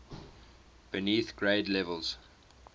beneath grade levels